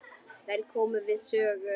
Þær komu við sögu.